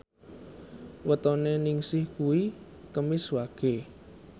wetone Ningsih kuwi Kemis Wage